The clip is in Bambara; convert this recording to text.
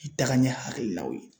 NI tagaɲɛ hakililaw ye